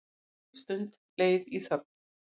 Löng stund leið í þögn.